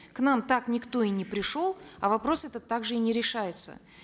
к нам так никто и не пришел а вопрос этот также и не решается